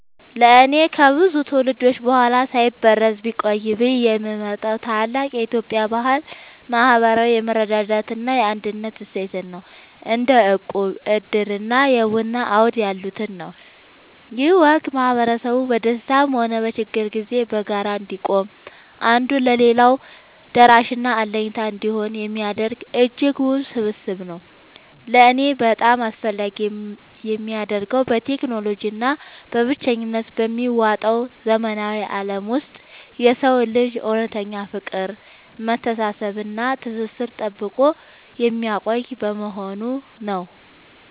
ለእኔ ከብዙ ትውልዶች በኋላ ሳይበረዝ ቢቆይ ብዬ የምመርጠው ታላቅ የኢትዮጵያ ባህል **ማህበራዊ የመረዳዳት እና የአንድነት እሴትን** (እንደ እቁብ፣ ዕድር እና የቡና አውድ ያሉትን) ነው። ይህ ወግ ማህበረሰቡ በደስታም ሆነ በችግር ጊዜ በጋራ እንዲቆም፣ አንዱ ለሌላው ደራሽና አለኝታ እንዲሆን የሚያደርግ እጅግ ውብ ስብስብ ነው። ለእኔ በጣም አስፈላጊ የሚያደርገው፣ በቴክኖሎጂ እና በብቸኝነት በሚዋጠው ዘመናዊ ዓለም ውስጥ የሰውን ልጅ እውነተኛ ፍቅር፣ መተሳሰብ እና ትስስር ጠብቆ የሚያቆይ በመሆኑ ነው።